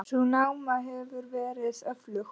Sú náma hefur verið aflögð.